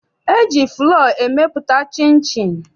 E ji fụlọọ emepụta chịnchịn.